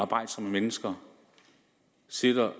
arbejdsomme mennesker sidder